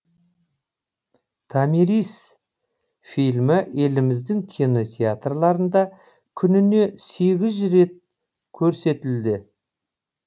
томирис фильмі еліміздің кинотеатрларында күніне сегіз жүз рет көрсетіледі